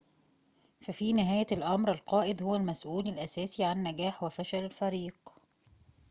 ففي نهاية الأمر القائد هو المسؤول الأساسي عن نجاح وفشل الفريق